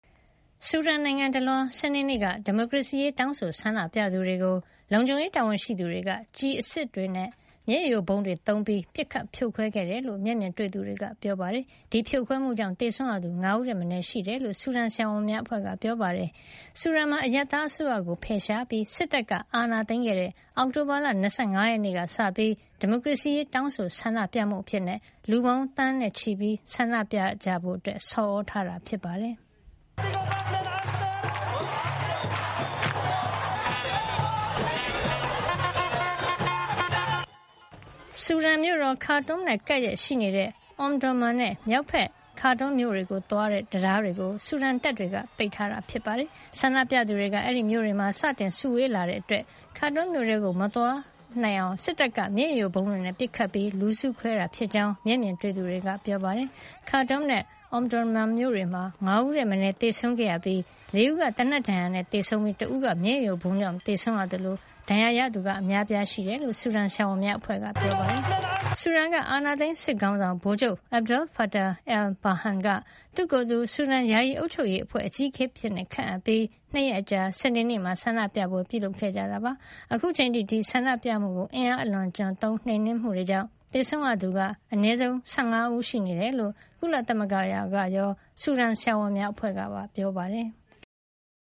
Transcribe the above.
ဆူဒန်နိုင်ငံတလွှား စနေနေ့က ဒီမိုကရေစီရေး တောင်းဆို ဆန္ဒပြသူတွေကို လုံခြုံရေး တာဝန်ရှိသူတွေက ကျည်ဆန်အစစ်တွေ၊ မျက်ရည်ယိုဗုံးတွေ သုံးပြီး ပစ်ခတ်ဖြိုခွဲခဲ့တယ်လို့ မျက်မြင်တွေ့သူတွေက ပြောပါတယ်။ ဒီဖြိုခွဲမှုကြောင့် သေဆုံးရသူ ၅ ဦးထက်မနည်း ရှိနေတယ်လို့ ဆူဒန်ဆရာဝန်များအဖွဲ့က ပြောပါတယ်။ ဆူဒန်မှာ အရပ်သားအစိုးရကို ဖယ်ရှားပြီး စစ်တပ်က အာဏာသိမ်းခဲ့တဲ့ အောက်တိုဘာလ ၂၅ ရက်နေ့က စပြီး ဒီမိုကရေစီရေး တောင်းဆိုဆန္ဒပြမှုအဖြစ် လူပေါင်းသန်းချီ ဆန္ဒပြဖို့ ဆော်သြထားတာ ဖြစ်ပါတယ်။ ဆူဒန်မြို့တော် Khartoum နဲ့ ကပ်လျက်ရှိနေတဲ့ Omdurman နဲ့ မြောက် Khartoum မြို့တွေကို သွားတဲ့ တံတားတွေကို ဆူဒန်တပ်တွေက ပိတ်ထားတာ ဖြစ်ပါတယ်။ ဆန္ဒပြသူတွေက အဲဒီမြို့တွေမှာ စတင်စုဝေးလာတာကြောင့် Khartoum မြို့ထဲမှာ သွားမစုနိုင်အောင် စစ်တပ်က မျက်ရည်ယိုဗုံးတွေနဲ့ ပစ်ခတ်ပြီး လူစုခွဲတာဖြစ်ကြောင်း မျက်မြင်တွေ့သူတွေက ပြောပါတယ်။ Khartoum နဲ့ Omdurman မြို့တွေမှာ ၅ ဦးထက်မနည်း သေဆုံးခဲ့ရပြီး ၄ ဦးက သေနတ်ဒဏ်ရာနဲ့ သေဆုံးပြီး တဦးက မျက်ရည်ယိုဗုံးကြောင့် သေဆုံးရသလို အများအပြား ဒဏ်ရာတွေ ရခဲ့တယ်လို့ ဆူဒန်ဆရာဝန်များအဖွဲ့က ပြောပါတယ်။ ဆူဒန်က အာဏာသိမ်း စစ်ခေါင်းဆောင် ဗိုလ်ချုပ် Abdel-Fattah al-Burhan က သူ့ကိုယ်သူ ဆူဒန်ယာယီအုပ်ချုပ်ရေးအဖွဲ့ အကြီးအကဲအဖြစ် ခန့်အပ်ခဲ့ပြီး ၂ ရက်အကြာ စနေနေ့မှာ ဆန္ဒပြပွဲ ပြုလုပ်ခဲ့ကြတာ ဖြစ်ပါတယ်။ အခုချိန်အထိ ဆန္ဒပြမှုကို အင်အားအလွန်အကျွံသုံး နှိမ်နင်းမှုတေကြာင့် သေဆံးရသူ အနည်းဆုံး ၁၅ ဦး ရှိနေတယ်လို့ ကုလသမဂ္ဂကရော ဆူဒန်ဆရာဝန်များအဖွဲ့ကပါ ပြောပါတယ်။